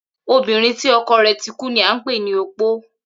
Obìnrin tí o̩kò̩ rè̩ tí kú ni à n pè ní opó